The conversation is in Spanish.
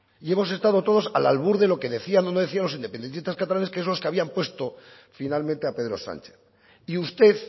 y hemos estado todos al albur de lo que decían o no decían los independentistas catalanes que es lo que habían puesto finalmente a pedro sánchez y usted